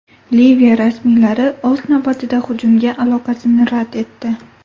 Liviya rasmiylari, o‘z navbatida, hujumga aloqasini rad etdi.